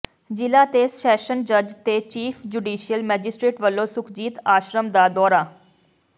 ਜ਼ਿਲ੍ਹਾ ਤੇ ਸ਼ੈਸ਼ਨ ਜੱਜ ਤੇ ਚੀਫ਼ ਜੁਡੀਸ਼ੀਅਲ ਮੈਜਿਸਟਰੇਟ ਵਲੋਂ ਸੁਖਜੀਤ ਆਸ਼ਰਮ ਦਾ ਦੌਰਾ